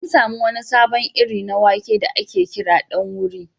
An samu wani sabon iri na wake da ake kira ɗan wuri.